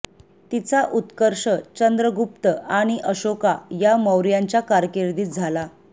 तिचा उत्कर्ष चंद्रगुप्त आणि अशोका या मौर्याच्या कारकीर्दीत झाला